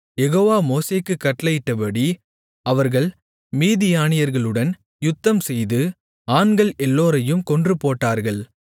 யெகோவா மோசேக்குக் கட்டளையிட்டபடி அவர்கள் மீதியானியர்களுடன் யுத்தம்செய்து ஆண்கள் எல்லோரையும் கொன்றுபோட்டார்கள்